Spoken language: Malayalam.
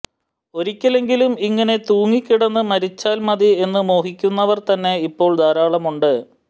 ഒരിക്കലെങ്കിലും ഇങ്ങനെ തൂങ്ങിക്കിടന്നിട്ട് മരിച്ചാല്മതി എന്ന് മോഹിക്കുന്നവര്തന്നെ ഇപ്പോള് ധാരാളമുണ്ട്